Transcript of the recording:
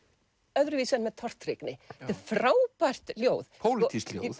öðruvísi en með tortryggni þetta er frábært ljóð pólitískt ljóð